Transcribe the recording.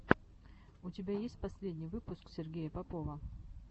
у тебя есть последний выпуск сергея попова